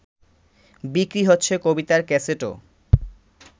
বিক্রি হচ্ছে কবিতার ক্যাসেটও